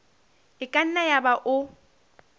e ka nna yaba o